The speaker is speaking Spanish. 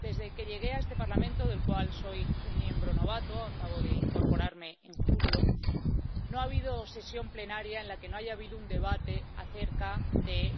Desde que llegué a este Parlamento —del cual soy una miembro novata, acabo de incorporarme en julio—, no ha habido sesión plenaria en la que no haya habido un debate acerca del